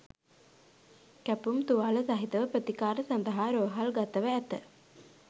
කැපුම් තුවාල සහිතව ප්‍රතිකාර සඳහා රෝහල්ගතව ඇත.